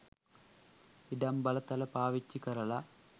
ඉඩම් බලතල පාවිච්චි කරලා